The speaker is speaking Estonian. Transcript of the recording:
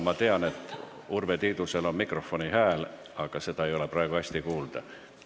Ma tean, et Urve Tiidusel on mikrofonihääl, aga seda ei ole praegu hästi kuulda.